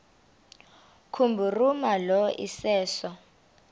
kubhuruma lo iseso